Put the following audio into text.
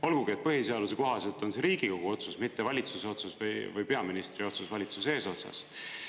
Olgugi et põhiseaduse kohaselt on see Riigikogu otsus, mitte valitsuse otsus või peaministri otsus valitsuse eesotsas.